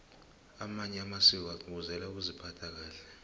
amanye amasiko agcugcuzela ukuziphatha kahle